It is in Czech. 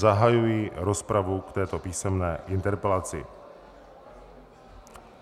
Zahajuji rozpravu k této písemné interpelaci.